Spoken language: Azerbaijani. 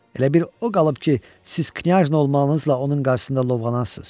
Elə bil o qalıb ki, siz knyajna olmağınızla onun qarşısında lovğalanasız.